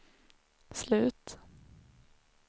slut